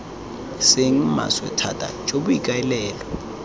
seng maswe thata jo boikaelelo